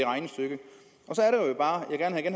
bare